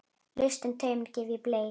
Lausan tauminn gef ég Bleik.